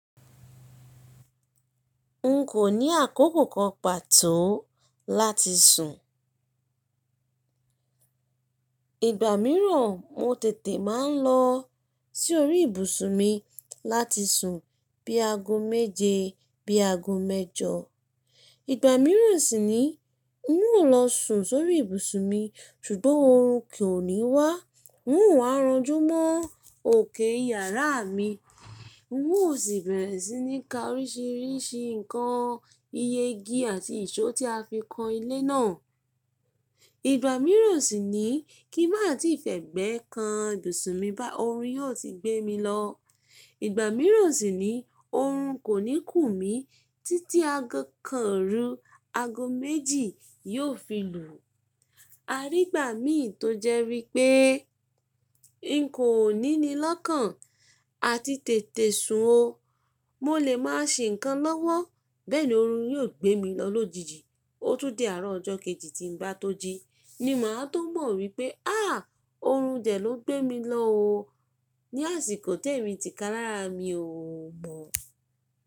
N kò ní àkókò kan pàtó láti sùn. Igba mìíràn mo tètè máa ń lọ sí orí ibùsùn mi láti sùn bí aago méje, bí aago mẹ́jọ. Igba mìíràn sì ni n o lọ sùn sórí ibùsùn mi ṣùgbọ́n oorun kò ní wá. N o rànjú mọ́ òkè yàrá mi. N o sì bẹ̀rẹ̀ sí ní ka oríṣiríṣi ǹkan iye igi àti ìṣó tí a fi kan ilé náà. Igba mìíràn sì ni kí má tí fẹ́ gbẹ́ kan ibùsùn mi bá oorun yóò ti gbé mi lọ. Igba mìíràn sì ni oorun kò ní kùn mi títí aago kan orú aago méjì yóò fi lù. A rí ìgbà mi tó jẹ́ wipé n kò ní ni lọ́kàn àti tètè sùn o. Mo lè máa ṣe ǹkan lọ́wọ́ bẹ́ẹ̀ ni oorun yóò gbé mi lọ lójijì. Ó tún di àárọ̀ ọjọ́ kejì tí n bá tó jí ni màá tó mọ̀ wípé́ háà! Oorun dẹ ló gbé mi lọ o ní àsìkò tẹ́ mi ti ka lára mi o mọ̀.